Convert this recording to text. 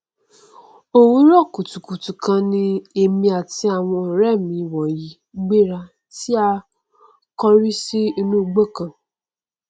òwúrọ kùtùkùtù kan ni èmi àti àwọn ọrẹ mi wọnyí gbéra tí a kórí sí inú igbó kan